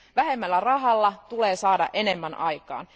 Vähemmällä rahalla tulee saada enemmän aikaan.